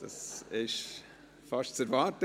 Das war fast zu erwarten.